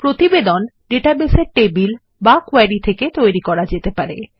প্রতিবেদন ডেটাবেস এর টেবিল বা কোয়েরি থেকে তৈরী করাযেতে পারে